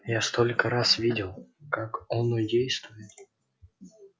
я столько раз видел как оно действует